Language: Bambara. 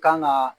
Kan ga